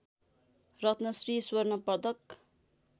रत्नश्री स्वर्ण पदक